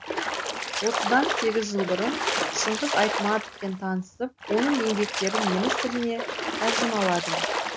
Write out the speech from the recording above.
осыдан сегіз жыл бұрын шыңғыс айтматовпен танысып оның еңбектерін неміс тіліне тәржімаладым